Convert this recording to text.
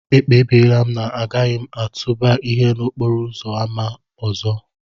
Ekpebiri m na agaghị m atụba ihe n'okporo ámá ọzọ.